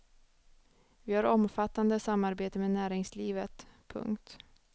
Vi har omfattande samarbete med näringslivet. punkt